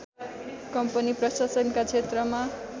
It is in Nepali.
कम्पनी प्रशासनका क्षेत्रमा